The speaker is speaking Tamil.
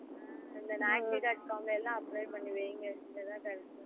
இந்த Naukri dot com எல்லாம் apply பண்ணி வைங்க இங்க தான் correct